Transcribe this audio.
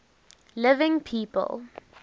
living people